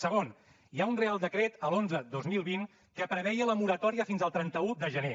segon hi ha un reial decret l’onze dos mil vint que preveia la moratòria fins al trenta un de gener